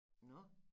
Nåh